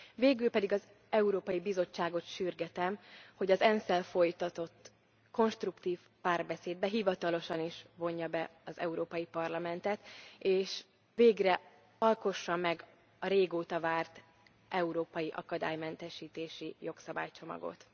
Végül pedig az Európai Bizottságot sürgetem, hogy az ENSZ szel folytatott konstruktív párbeszédbe hivatalosan is vonja be az Európai Parlamentet, és végre alkossa meg a régóta várt európai akadálymentesítési jogszabálycsomagot.